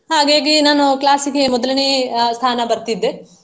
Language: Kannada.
ಹಾಗಾಗಿ ನಾನು class ಗೆ ಮೊದಲನೇಯ ಅಹ್ ಸ್ಥಾನ ಬರ್ತಿದ್ದೆ.